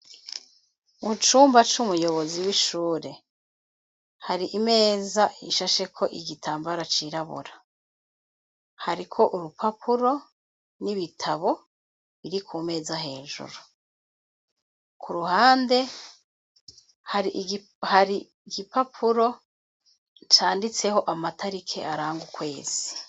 Mu cumba c'umuyobozi w'ishure, hari imeza ishasheko igitambara cirabura. Hariko urupapuro n'ibitabo biri ku meza hejuru. Ku ruhande hari igipapuro canditseho amatarike aranga ukwezi.